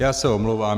Já se omlouvám.